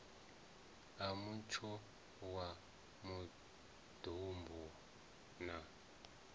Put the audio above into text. a mutsho wa maḓumbu na